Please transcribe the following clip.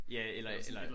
Ja eller eller